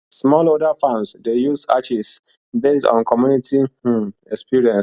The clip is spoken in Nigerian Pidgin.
smallholder farms dey use ashes based on community um experience